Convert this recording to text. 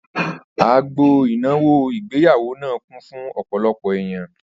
Agbo ìnáwó ìgbéyàwó náà kún fún ọ̀pọ̀lọpọ̀ èèyàn